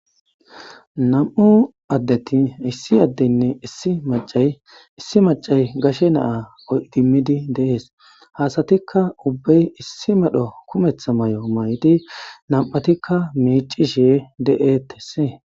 nam7u addeti issi addeynne issi macay issi macay gashe naa idimmidi dees ha asatikka ubbey issi medho kumeththa may7o may7di nam7atikka miicishe de7etesi